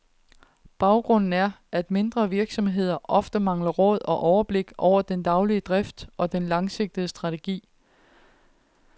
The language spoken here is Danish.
Baggrunden er, at mindre virksomheder ofte mangler råd og overblik over den daglige drift og den langsigtede strategi.